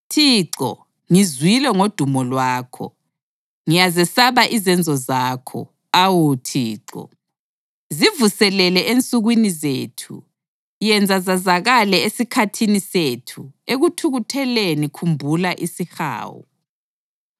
Thixo, ngizwile ngodumo lwakho; ngiyazesaba izenzo zakho, awu Thixo. Zivuselele ensukwini zethu, yenza zazakale esikhathini sethu; ekuthukutheleni khumbula isihawu.